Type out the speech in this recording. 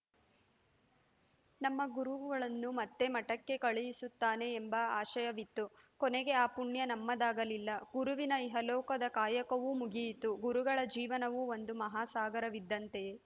ನಮ್ಮ ಗುರುಗುಗಳನ್ನು ಮತ್ತೆ ಮಠಕ್ಕೆ ಕಳಹಿಸುತ್ತಾನೆ ಎಂಬ ಆಶಯವಿತ್ತು ಕೊನೆಗೆ ಆ ಪುಣ್ಯ ನಮ್ಮದಾಗಲಿಲ್ಲ ಗುರುವಿನ ಇಹಲೋಕದ ಕಾಯಕವೂ ಮುಗಿಯಿತು ಗುರುಗಳ ಜೀವನವು ಒಂದು ಮಹಾಸಾಗರವಿದ್ದಂತೆ